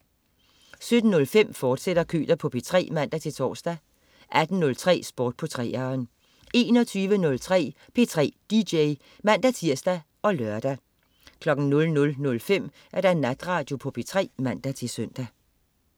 17.05 Køter på P3, fortsat (man-tors) 18.03 Sport på 3'eren 21.03 P3 DJ (man-tirs og lør) 00.05 Natradio på P3 (man-søn)